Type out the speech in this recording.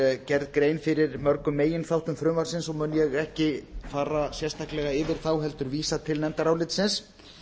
er gerð grein fyrir lögum meginþáttum frumvarpsins og mun ég ekki fara sérstaklega yfir þá heldur vísa til nefndarálitsins